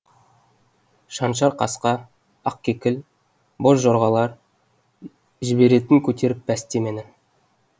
шаншар қасқа ақкекіл бозжорғалар жіберетін көтеріп пәсте мені